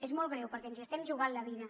és molt greu perquè ens hi estem jugant la vida